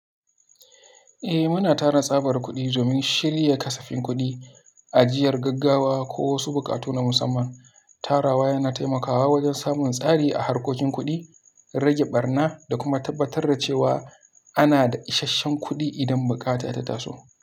Eh, muna tara tsabar kuɗi domin shirya kasafin kuɗi, ajiyar gaggawa ko wasu buƙatu na musamman. Tarawa yana taimakawa wajen samun tsari a harkokin kuɗi, rage ɓarna da kuma tabbatar da cewa ana da ishashshen kuɗi idan bukata ta taso.